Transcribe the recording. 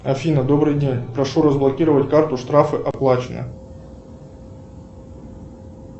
афина добрый день прошу разблокировать карту штрафы оплачено